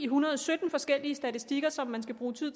hundrede og sytten forskellige statistikker som man skal bruge tid